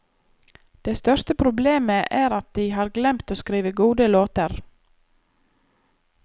Det største problemet er at de har glemt å skrive gode låter.